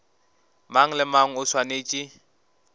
mang le mang o swanetše